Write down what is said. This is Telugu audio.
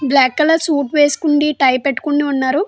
బ్లాక్ కలర్ షూట్ వేసుకొని టై పెట్టుకొని ఉన్నాడు.